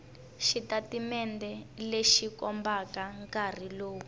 xitatimende lexi kombaka nkarhi lowu